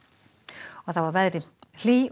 og þá að veðri hlý og